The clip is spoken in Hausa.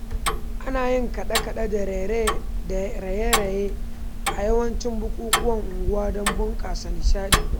Ana yin kaɗe-kaɗe da raye-raye a yawancin bukukuwan unguwa don bunƙasa nishaɗi.